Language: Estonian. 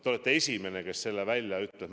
Te olete esimene, kes selle välja ütleb.